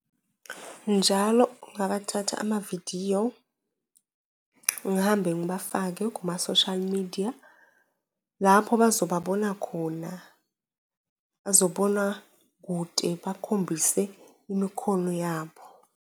Njalo ngingabathatha amavidiyo, ngihambe ngibafake kuma-social media lapho azobona khona, azobona kude bakhombise imikhono yabo.